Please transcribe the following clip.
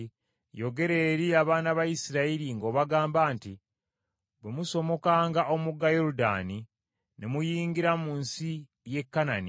“Yogera eri abaana ba Isirayiri ng’obagamba nti, ‘Bwe musomokanga omugga Yoludaani ne muyingira mu nsi y’e Kanani,